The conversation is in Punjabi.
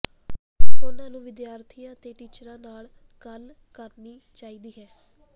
ਉਨ੍ਹਾ ਨੂੰ ਵਿਦਿਆਰਥੀਆਂ ਤੇ ਟੀਚਰਾਂ ਨਾਲ ਗੱਲ ਕਰਨੀ ਚਾਹੀਦੀ ਹੈ